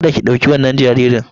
Kada ki ɗauki wannan jaririn!